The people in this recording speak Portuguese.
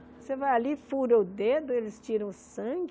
Você vai ali, fura o dedo, eles tiram o sangue.